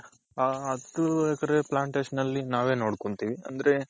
ಹ ಹತ್ತು acre plantation ನಲ್ಲಿ ನಾವೇ ನೋಡ್ಕೊಂತಿವಿ ಅಂದ್ರೆ,